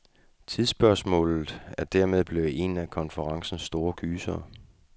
Tidsspørgsmålet er dermed blevet en af konferencens store gysere.